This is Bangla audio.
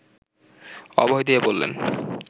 অভয় দিয়ে বললেন